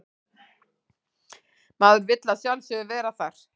Maður vill að sjálfsögðu vera þar